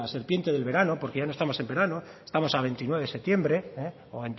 serpiente del verano porque ya no estamos en verano estamos a veintinueve de septiembre o